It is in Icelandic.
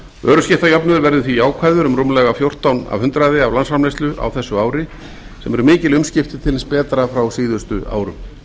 vöruskiptajöfnuður verður því jákvæður um rúmlega fjórtán prósent af landsframleiðslu á þessu ári sem eru mikil umskipti til hins betra frá síðustu árum